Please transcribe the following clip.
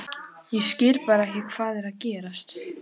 Ég skil bara ekki hvað er að gerast.